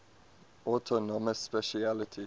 autonomous specialty